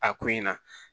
A ko in na